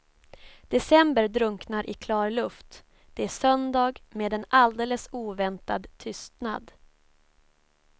December drunknar i klar luft, det är söndag med en alldeles oväntad tystnad.